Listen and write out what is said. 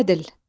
Ədl.